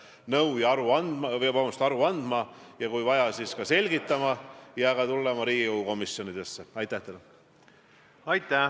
Mina ei ole nõus elama riigis, kus meil on mingisugused isikud või institutsioonid, kes ei kuulu kriitika alla.